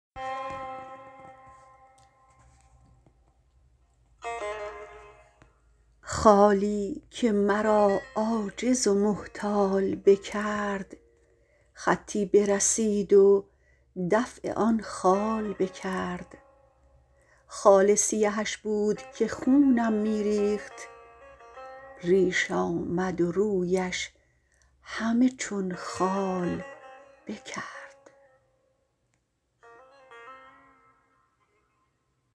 خالی که مرا عاجز و محتال بکرد خطی برسید و دفع آن خال بکرد خال سیهش بود که خونم می ریخت ریش آمد و رویش همه چون خال بکرد